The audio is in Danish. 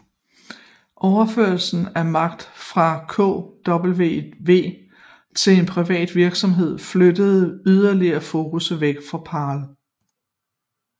Overførslen af magt fra KWV til en privat virksomhed flyttede yderligere fokus væk fra Paarl